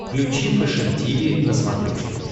включи фэшен тиви на смотрешке